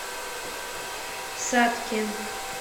сатке